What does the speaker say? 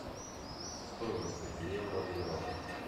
стоимость пяти евро в реалах